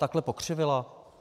Takhle pokřivila?